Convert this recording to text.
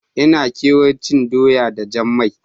Na kewar cin doya da jan mai.